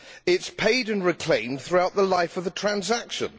It is paid and reclaimed throughout the life of a transaction.